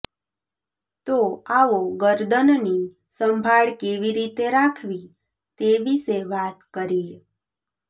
તો આવો ગરદનની સંભાળ કેવી રીતે રાખવી તે વિશે વાત કરીએ